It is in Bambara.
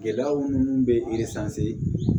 Gɛlɛya minnu bɛ